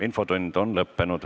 Infotund on lõppenud.